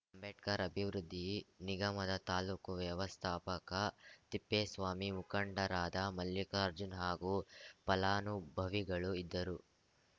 ಅಂಬೇಡ್ಕರ್‌ ಅಭಿವೃದ್ಧಿ ನಿಗಮದ ತಾಲೂಕು ವ್ಯವಸ್ಥಾಪಕ ತಿಪ್ಪೇಸ್ವಾಮಿ ಮುಖಂಡರಾದ ಮಲ್ಲಿಕಾರ್ಜುನ್‌ ಹಾಗೂ ಫಲಾನುಭವಿಗಳು ಇದ್ದರು